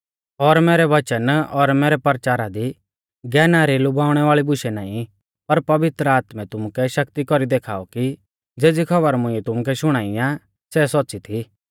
और मैरै वचन और मैरै परचारा दी ज्ञाना री लुभाउणै वाल़ी बुशै नाईं पर पवित्र आत्मै तुमुकै शक्ति कौरी देखाऔ कि ज़ेज़ी खौबर मुंइऐ तुमुकै शुणाई आ सै सौच़्च़ी थी